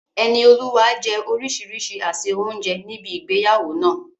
Enioluwa jẹ orísìírísìí àsè oúnjẹ ní ibi ìgbéyàwó náà.